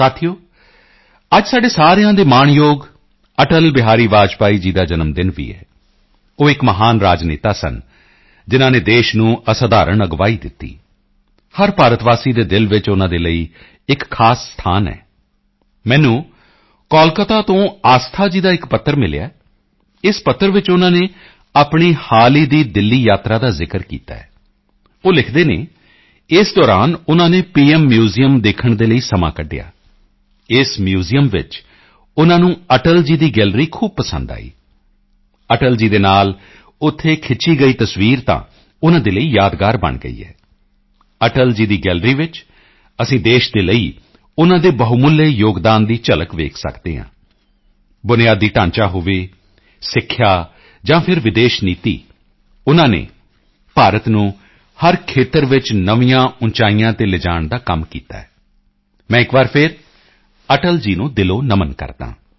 ਸਾਥੀਓ ਅੱਜ ਸਾਡੇ ਸਾਰਿਆਂ ਦੇ ਮਾਣਯੋਗ ਅਟਲ ਬਿਹਾਰੀ ਵਾਜਪੇਈ ਜੀ ਦਾ ਜਨਮ ਦਿਨ ਵੀ ਹੈ ਉਹ ਇੱਕ ਮਹਾਨ ਰਾਜਨੇਤਾ ਸਨ ਜਿਨ੍ਹਾਂ ਨੇ ਦੇਸ਼ ਨੂੰ ਅਸਾਧਾਰਣ ਅਗਵਾਈ ਦਿੱਤੀ ਹਰ ਭਾਰਤ ਵਾਸੀ ਦੇ ਦਿਲ ਵਿੱਚ ਉਨ੍ਹਾਂ ਦੇ ਲਈ ਇੱਕ ਖਾਸ ਸਥਾਨ ਹੈ ਮੈਨੂੰ ਕੋਲਕਾਤਾ ਤੋਂ ਆਸਥਾ ਜੀ ਦਾ ਇੱਕ ਪੱਤਰ ਮਿਲਿਆ ਹੈ ਇਸ ਪੱਤਰ ਵਿੱਚ ਉਨ੍ਹਾਂ ਨੇ ਆਪਣੀ ਹਾਲ ਹੀ ਦੀ ਦਿੱਲੀ ਯਾਤਰਾ ਦਾ ਜ਼ਿਕਰ ਕੀਤਾ ਹੈ ਉਹ ਲਿਖਦੇ ਹਨ ਇਸ ਦੌਰਾਨ ਉਨ੍ਹਾਂ ਨੇ ਪੀਐੱਮ ਮਿਊਜ਼ੀਅਮ ਦੇਖਣ ਦੇ ਲਈ ਸਮਾਂ ਕੱਢਿਆ ਇਸ ਮਿਊਜ਼ੀਅਮ ਵਿੱਚ ਉਨ੍ਹਾਂ ਨੂੰ ਅਟਲ ਜੀ ਦੀ ਗੈਲਰੀ ਖੂਬ ਪਸੰਦ ਆਈ ਅਟਲ ਜੀ ਦੇ ਨਾਲ ਉੱਥੇ ਖਿੱਚੀ ਗਈ ਤਸਵੀਰ ਤਾਂ ਉਨ੍ਹਾਂ ਦੇ ਲਈ ਯਾਦਗਾਰ ਬਣ ਗਈ ਹੈ ਅਟਲ ਜੀ ਦੀ ਗੈਲਰੀ ਵਿੱਚ ਅਸੀਂ ਦੇਸ਼ ਦੇ ਲਈ ਉਨ੍ਹਾਂ ਦੇ ਬਹੁਮੁੱਲੇ ਯੋਗਦਾਨ ਦੀ ਝਲਕ ਦੇਖ ਸਕਦੇ ਹਾਂ ਬੁਨਿਆਦੀ ਢਾਂਚਾ ਹੋਵੇ ਸਿੱਖਿਆ ਜਾਂ ਫਿਰ ਵਿਦੇਸ਼ ਨੀਤੀ ਉਨ੍ਹਾਂ ਨੇ ਭਾਰਤ ਨੂੰ ਹਰ ਖੇਤਰ ਵਿੱਚ ਨਵੀਆਂ ਉਚਾਈਆਂ ਤੇ ਲਿਜਾਣ ਦਾ ਕੰਮ ਕੀਤਾ ਮੈਂ ਇੱਕ ਵਾਰ ਫਿਰ ਅਟਲ ਜੀ ਨੂੰ ਦਿਲੋਂ ਨਮਨ ਕਰਦਾ ਹਾਂ